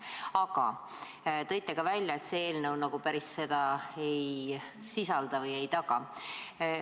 Aga ütlesite ka, et see eelnõu nagu päriselt seda ei sisalda või ei taga.